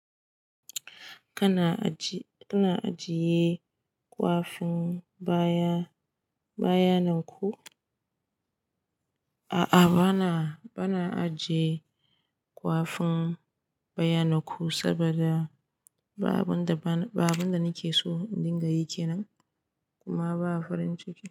Kana ajiye kwafin bayanan ku? A'a, bana ajiye ƙwafin bayanan ku saboda ba abun da nake so in dinga yi kenan kuma ba farin ciki.